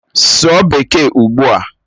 Sụọ Bekee ugbua!